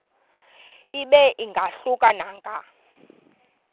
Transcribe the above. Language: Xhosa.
ibe ingahluka nanga